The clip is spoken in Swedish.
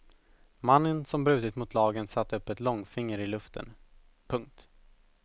Mannen som brutit mot lagen satte upp ett långfinger i luften. punkt